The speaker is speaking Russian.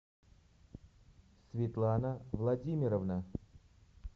светлана владимировна